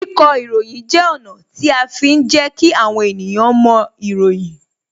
Kíkọ ìròyìn jẹ́ ọ̀nà tí a fi ń jẹ kí àwọn ènìyàn moìròyìn